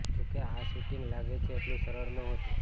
જોકે આ શૂટિંગ લાગે છે એટલું સરળ નહોતું